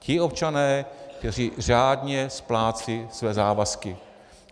Ti občané, kteří řádně splácejí své závazky.